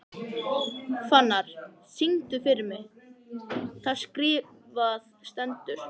Fannar, syngdu fyrir mig „Það skrifað stendur“.